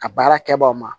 A baara kɛbagaw ma